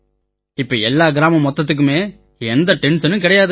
இப்ப எல்லாம் கிராமம் மொத்தத்துக்குமே எந்த டென்ஷனும் கிடையாது